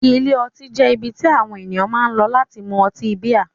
Ilé ọtí jẹ́ ibi tí àwọn ènìyàn máa ń lọ láti mú ọtí bíà.